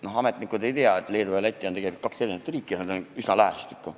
Noh, ametnikud ei tea, et Leedu ja Läti on tegelikult kaks eri riiki, nad vaid asuvad üsna lähestikku.